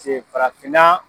farafinna